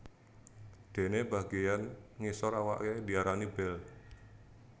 Dene bageyan ngisor awaké diarani bel